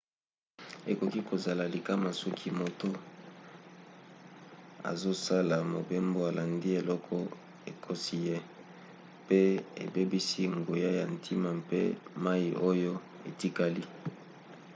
ekoki kozala likama soki moto azosala mobembo alandi eloko ekosi ye mpe abebisi nguya ya ntina mpe mai oyo etikali